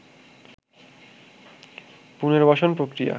পুনর্বাসন প্রক্রিয়া